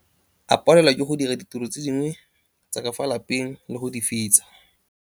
A palelwa ke go dira ditiro tse dingwe tsa ka fa lapeng le go di fetsa.